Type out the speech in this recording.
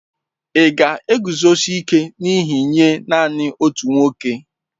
Ị̀ ga-eguzosi ike n'ihe nye nanị otu nwoke?